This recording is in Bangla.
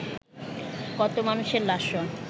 কত মানুষের লাশও